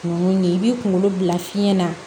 Kunun yen i b'i kunkolo bila fiɲɛ na